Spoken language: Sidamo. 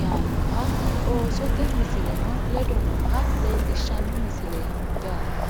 yaannoha oosote misileno ledo nooha leellishshanno misile yaate